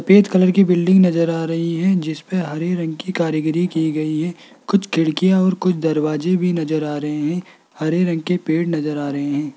Peach colour की बिल्डिंग नजर आ रही है जिसपे हरे रंग की कारीगरी की गई है कुछ खिड़कियां और कुछ दरवाजे भी नजर आ रहे हैं हरे रंग के पेड़ नजर आ रहे हैं।